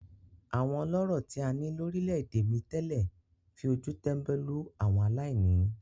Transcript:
Àwọn ọlọ́rọ̀ tí a ní lórílẹ̀-èdè mi tẹ́lẹ̀ fi ojú tẹ́ńbẹ́lú àwọn aláìní.